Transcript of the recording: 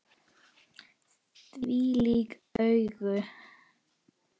Þvílík augu!